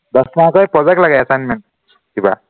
দহ mark ৰ এই project লাগে assignment কিবা